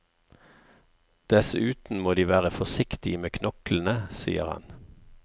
Dessuten må de være forsiktige med knoklene, sier han.